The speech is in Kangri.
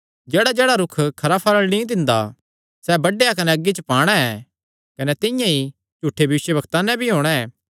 जेह्ड़ाजेह्ड़ा रूख खरा फल़ नीं दिंदा सैह़ बड्डेया कने अग्गी च पाणा ऐ कने तिंआं ई झूठे भविष्यवक्तां नैं भी होणा ऐ